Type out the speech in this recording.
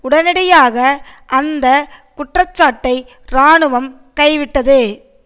உடனடியாக அந்த குற்றச்சாட்டைக் இராணுவம் கைவிட்டது